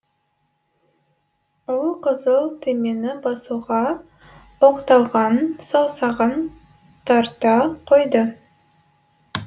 ол қызыл түймені басуға оқталған саусағын тарта қойды